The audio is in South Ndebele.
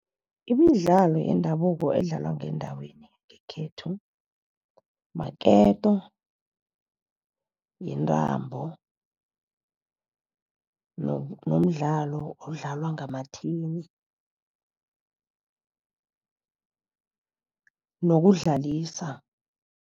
Imidlalo yendabuko edlalwa ngendaweni yangekhethu maketo, yintambo, nomdlalo odlalwa ngamathini nokudlalisa.